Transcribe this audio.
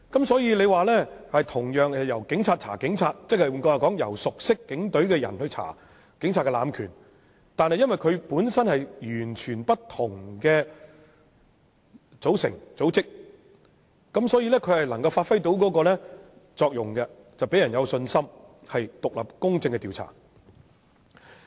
所以，同樣是由警隊人員調查警務人員，亦即由熟悉警隊的人調查警務人員濫權個案，但基於有關人員分別屬於完全不同的組織，所以能完全發揮作用，讓人有信心會作出獨立公正的調查。